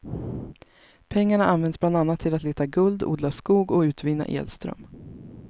Pengarna används bland annat till att leta guld, odla skog och utvinna elström.